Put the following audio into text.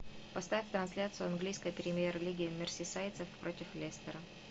поставь трансляцию английской премьер лиги мерсисайдцев против лестера